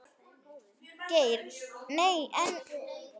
Geir Nei, en.